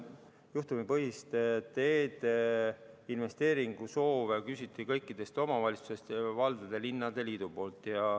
Juhtumipõhiste tee-investeeringute soove küsiti kõikidest omavalitsustest linnade ja valdade liidu poolt.